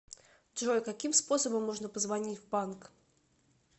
джой каким способом можно позвонить в банк